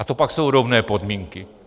A to pak jsou rovné podmínky.